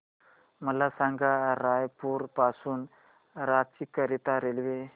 मला सांगा रायपुर पासून रांची करीता रेल्वे